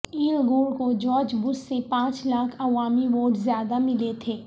L Gore کو George Bush سے پانچ لاکھ عوامی ووٹ زیادہ ملے تھے